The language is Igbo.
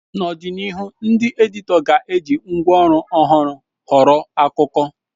N'ọdịnihu, ndị editọ ga-eji ngwa ọhụrụ họrọ akụkọ.